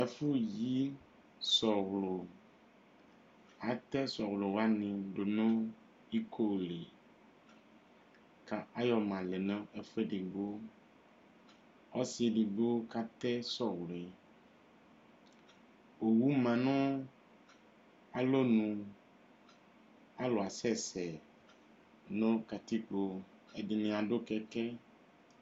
Ɛfʋyi sɔlɔ atɛ sɔlɔ wani nʋ ikoli kʋ ayɔma lɛnʋ ɛfʋ edigbo ɔsidi dʋ katɛ sɔlɔ yɛ owʋ manʋ alɔnʋ alʋ asɛsɛ nʋ katikpo ɛdini adʋ kɛkɛ